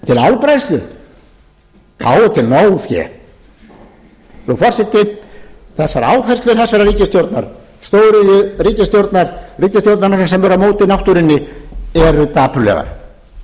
álbræðslu þá er til nóg fé frú forseti þessar áherslur þessarar stóriðjuríkisstjórnar ríkisstjórnarinnar sem er á móti náttúrunni eru dapurlegar